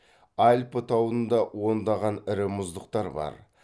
альпі тауында ондаған ірі мұздықтар бар